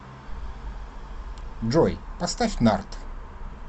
джой поставь нард